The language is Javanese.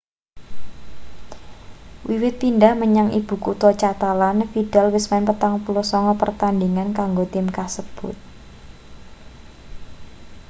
wiwit pindhah menyang ibu kutha catalan vidal wis main 49 pertandhingan kanggo tim kasebut